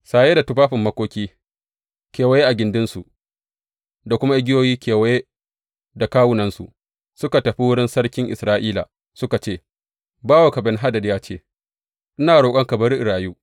Saye da tufafin makoki kewaye a gindinsu, da kuma igiyoyi kewaye da kawunansu, suka tafi wurin sarkin Isra’ila, suka ce, Bawanka Ben Hadad ya ce, Ina roƙonka bari in rayu.’